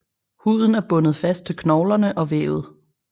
Huden er bundet fast til knoglerne og vævet